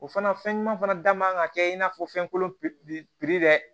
O fana fɛn ɲuman fana da man ka kɛ i n'a fɔ fɛn kolon dɛ